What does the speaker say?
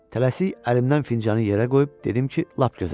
Tələsik əlimdən fincanı yerə qoyub dedim ki, lap gözəl.